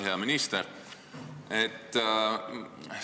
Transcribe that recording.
Hea minister!